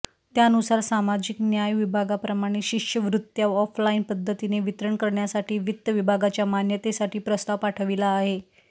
त्यानुसार सामाजिक न्याय विभागाप्रमाणे शिष्यवृत्त्या ऑफलाईन पद्धतीने वितरण करण्यासाठी वित्त विभागाच्या मान्यतेसाठी प्रस्ताव पाठविला आहे